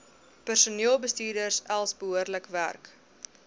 personeelbestuurstelsels behoorlik werk